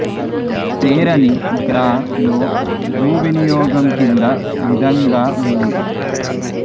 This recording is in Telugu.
తేరణి గ్రా లో భూ వినియోగం కింది విధంగా ఉంది